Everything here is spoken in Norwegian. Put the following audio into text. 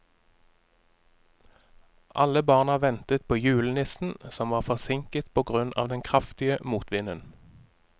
Alle barna ventet på julenissen, som var forsinket på grunn av den kraftige motvinden.